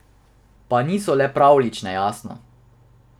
Pa niso le pravljične, jasno.